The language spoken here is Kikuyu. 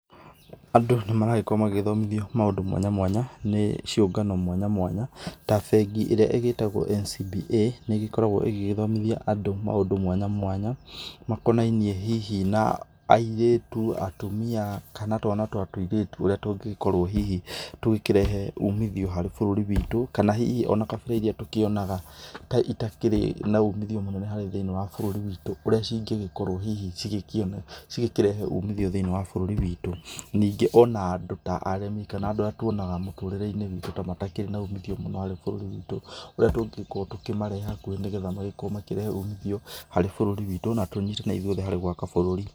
Andũ nĩ maragĩkorwo magĩthomithio maũndũ mwanya mwanya nĩ ciũngano mwanya mwanya ta bengi ĩrĩa igĩtagwo NCBA nĩ ĩgĩkoragwo ĩgĩgĩthomithia andũ maũndũ mwanya mwanya makonainie hihi na airĩtu, atumia kana twana ta tũirĩtu ũrĩa tũngĩkorwo hihi tũgĩkĩrehe ũmithio harĩ bũrũri witũ kana ona hihi kabira irĩa tũkĩonaga ta itakĩrĩ na ũmĩthio thĩinĩ wa bũrũri witũ ũrĩa cingĩkorwo hihi cikĩrehe ũmĩthio thĩinĩ wa bũrũri witũ, ningĩ ona andũ ta arĩmi kana andũ arĩa twonaga mũtũrĩre-inĩ witũ ta matakĩrĩ na ũmithio mũnene harĩ bũrũri witũ ũrĩa tũngĩgĩkorwo tũkĩmarehe hakuhĩ nĩgetha makorwo makĩrehe ũmithio harĩ bũrũri witũ na tũnyitanĩre ithuothe harĩ gwaka bũrũri.